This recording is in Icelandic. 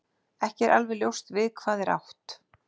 ekki er alveg ljóst við hvað er átt